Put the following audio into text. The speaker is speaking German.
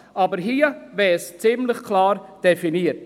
Aber hier ist es ziemlich klar definiert.